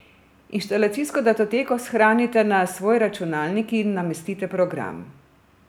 Inštalacijsko datoteko shranite na svoj računalnik in namestite program.